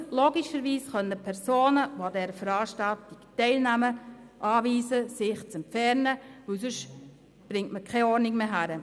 Sie muss logischerweise Personen, die an der Veranstaltung teilnehmen, anweisen, sich zu entfernen, weil man sonst die Ordnung nicht wiederherstellen kann.